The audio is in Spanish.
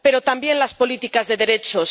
Pero, también, las políticas de derechos.